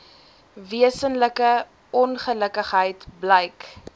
wesenlike ongelukkigheid blyk